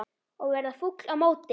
Og verða fúll á móti!